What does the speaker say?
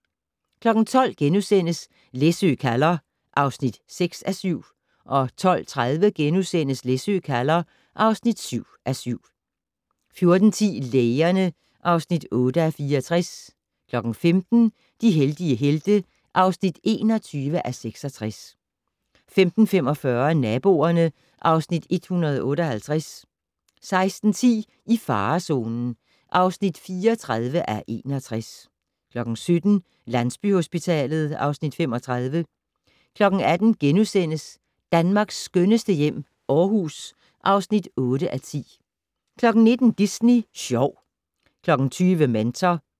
12:00: Læsø kalder (6:7)* 12:30: Læsø kalder (7:7)* 14:10: Lægerne (8:64) 15:00: De heldige helte (21:66) 15:45: Naboerne (Afs. 158) 16:10: I farezonen (34:61) 17:00: Landsbyhospitalet (Afs. 35) 18:00: Danmarks skønneste hjem - Aarhus (8:10)* 19:00: Disney Sjov 20:00: Mentor